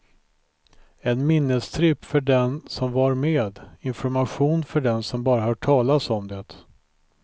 En minnestripp för den som var med, information för den som bara hört talas om det.